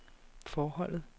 forholdet